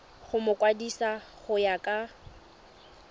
go mokwadise go ya ka